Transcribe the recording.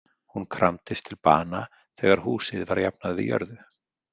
Hún kramdist til bana þegar húsið var jafnað við jörðu.